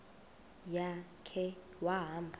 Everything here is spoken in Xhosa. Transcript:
ya khe wahamba